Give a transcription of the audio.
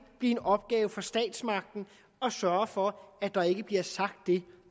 blive en opgave for statsmagten at sørge for at der ikke bliver sagt det